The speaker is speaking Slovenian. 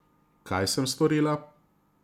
Kaj sem storila?